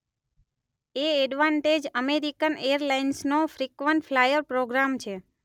એ advantage American એરલાઇન્સનો frequent flyer programme છે.